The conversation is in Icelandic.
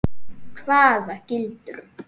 Hvaða gildru?